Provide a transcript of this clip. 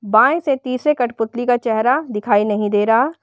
बाएं से तीसरे कठपुतली का चेहरा दिखाई नहीं दे रहा--